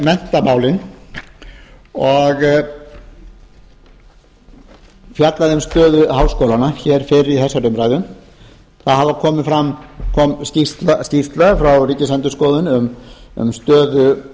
menntamálin og fjallað um stöðu háskólanna hér fyrr í þessari umræðu það kom skýrsla frá ríkisendurskoðun um stöðu